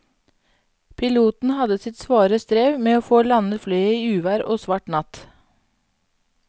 Piloten hadde sitt svare strev med å få landet flyet i uvær og svart natt.